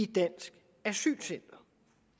dansk asylcenter